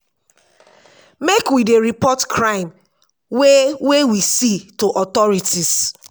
make we dey report crime wey wey we see to authorities.